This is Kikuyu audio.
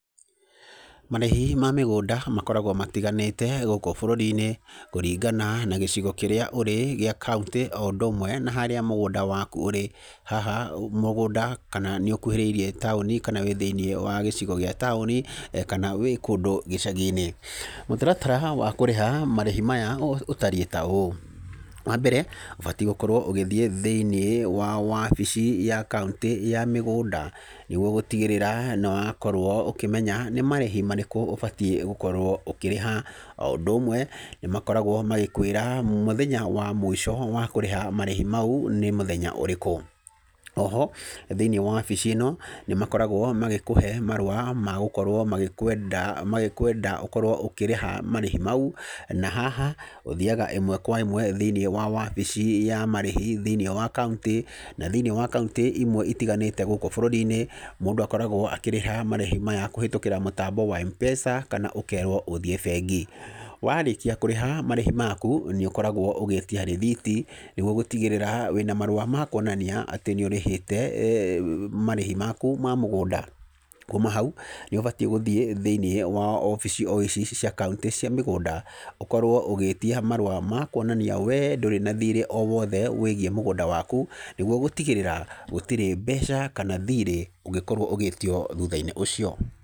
Marĩhi ma mĩgũnda makoragwo matiganĩte gũkũ bũrũri-inĩ kũringana na gĩcigo kĩrĩa ũrĩ gĩa kaũntĩ, o ũndũ ũmwe na harĩa mũgũnda waku ũrĩ, haha mũgũnda kana nĩ ũkuhĩrĩirie taũni kana wĩ gĩcigo gĩa taũni, kana wĩ kũndũ gĩcagi-inĩ. Mũtaratara wa kũrĩha marĩhi maya ũtariĩ ta ũũ: Wa mbere ũbatiĩ gũkorwo ũgĩthiĩ thĩ-inĩ wa wabici ya kaũntĩ ya mĩgũnda nĩguo gũtigĩrĩra nĩ wakorwo ukĩmenya nĩ marĩhi marĩkũ ũbatiĩ gũkorwo ũkĩrĩha. O ũndũ ũmwe nĩmakoragwo magĩkwĩra mũthenya wa mũico wa kũrĩha marĩhi mau nĩ mũthenya ũrĩkũ. Oho thĩ-inĩ wa wabici ĩno nĩ makoragwo magĩkũhe marũa ma gũkorwo magĩkwenda ũkorwo ũkĩrĩha marĩhi mau, na haha ũthiaga ĩmwe kwa ĩmwe thĩ-inĩ wa wabici ya marĩhi thĩ-inĩ wa kaũntĩ, na thĩ-inĩ wa kaũntĩ imwe itiganĩte gũkũ bũrũri-inĩ mũndũ akoragwo akĩrĩha marĩhi maya kũhetũkĩra mũtambo wa Mpesa kana ũkerũo ũthiĩ bengi. Warĩkia kũrĩha marĩhi maku nĩũkoragwo ũgĩtia rithiti nĩguo gũtigĩrĩra wĩna marua ma kũonania atĩ nĩũrĩhĩte marĩhi maku ma mũgũnda. Kuma hau, nĩ ũbatiĩ gũthiĩ thĩ-inĩ wa wobici o ici cia kaũntĩ cia mĩgũnda ũkorwo ũgĩtia marũa ma kũonania we ndũrĩ na thirĩ o wothe wĩgiĩ mũgũnda waku nĩguo gũtigĩrĩra gũtirĩ mbeca kana thirĩ ũngĩkorwo ũgĩtio thutha-inĩ ũcio.